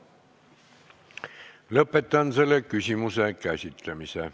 Lõpetan selle küsimuse käsitlemise.